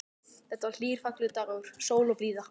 Þetta var hlýr og fallegur dagur, sól og blíða.